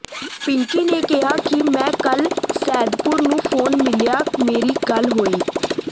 ਪਿੰਕੀ ਨੇ ਕਹਿਆ ਕਿ ਮੈ ਕਲ ਸੈਦਪੁਰ ਨੂੰ ਫੋਨ ਮਿਲਿਆ ਮੇਰੀ ਗੱਲ ਹੋਈ